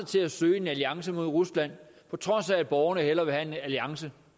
til at søge en alliance med rusland på trods af at borgerne hellere vil have en alliance